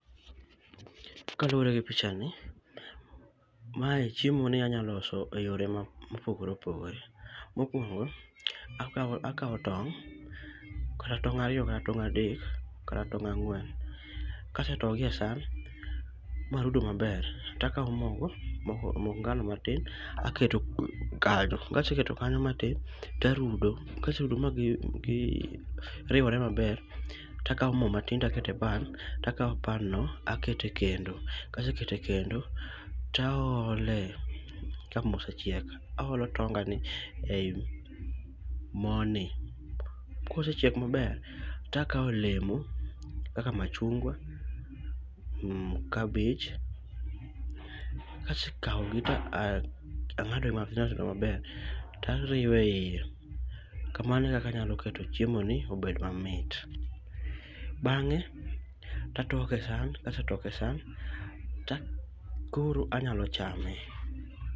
kalure gi pichani, mae chiemoni anya loso eyore mopogore opogoree. Mokuongo, akao akao tong' kata tong' ariyo kata tong' adek, kata tong' ang'wen, kasetogi esan marudo maber takao mogo moko mok ngano matin aketo kanyo kaseketo kanyo matin tarudo kaserudo magiriwore maber takao moo matin takete epan takao panno takete kendo kasekete kendo taoole kamoo osechiek aolo tongani eii mooni. Kosechiek maber, takao olemo kaka machungwa cabbage. kasekaogi tang'ade matindo tindo maber tariweiye kamano ekaka anyalo keto chiemoni obed mamit. Bang'e tatoke esan , kasetoke esan koro nyalo chame.